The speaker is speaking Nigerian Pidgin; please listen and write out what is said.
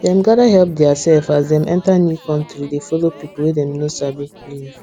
dem gather help theirself as dem enter new country dey follow people wey dem no sabi live